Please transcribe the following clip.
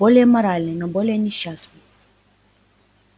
более моральный но более несчастный